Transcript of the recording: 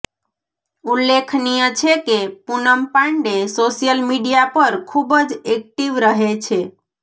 ઉલ્લેખનીય છે કે પૂનમ પાંડે સોશિયલ મીડિયા પર ખૂબ જ એક્ટિવ રહે છે